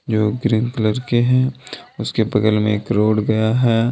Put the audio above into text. जो green colour के हैं उसके बगल में एक रोड गया है।